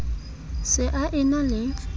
se a e na le